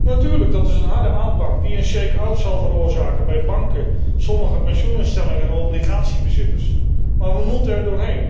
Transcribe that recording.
Natuurlijk, dat is een harde aanpak die een zal veroorzaken bij banken, sommige pensioeninstellingen en obligatiebezitters, maar we moeten er doorheen.